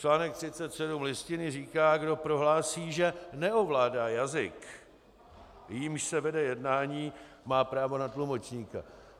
Článek 37 Listiny říká, kdo prohlásí, že neovládá jazyk, jímž se vede jednání, má právo na tlumočníka.